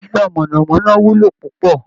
Iná mọ̀nà-mọ́ná wúlò púpọ̀